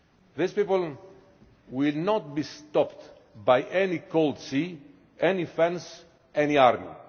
These people will not be stopped by any cold sea, any fence, any